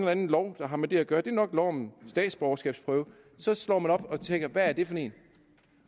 anden lov der har med det at gøre det er nok lov om statsborgerskabsprøve så slår man op og tænker hvad er det for en